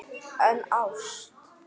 En ást?